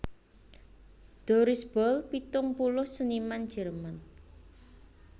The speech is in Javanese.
Doris Boll pitung puluh seniman Jerman